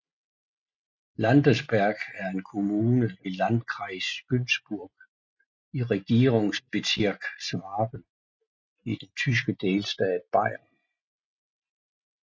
Landensberg er en kommune i Landkreis Günzburg i Regierungsbezirk Schwaben i den tyske delstat Bayern